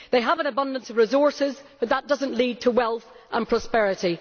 They have an abundance of resources but that does not lead to wealth and prosperity.